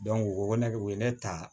u ko ko ne u ye ne ta